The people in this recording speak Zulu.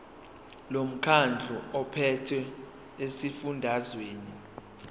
lomkhandlu ophethe esifundazweni